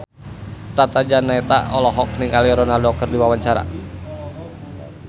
Tata Janeta olohok ningali Ronaldo keur diwawancara